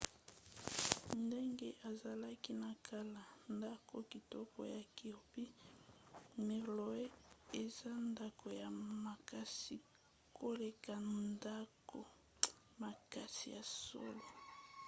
ndenge ezalaki na kala ndako kitoko ya kirby muxloe eza ndako ya makasi koleka ndako makasi ya solo